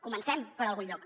comencem per algun lloc